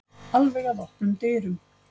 Alveg að opnum dyrunum.